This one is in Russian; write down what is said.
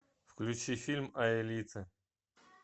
включи фильм аэлита